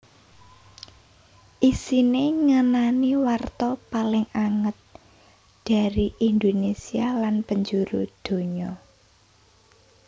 Isiné ngenani warta paling anget dari Indonésia lan penjuru donya